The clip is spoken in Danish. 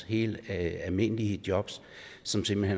helt almindelige jobs som simpelt